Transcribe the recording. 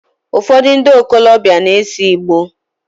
Ufodu ndi okolobia na ese Igboo